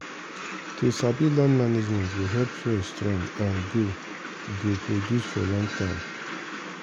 to sabi land management go help soil strong and go go produce for long time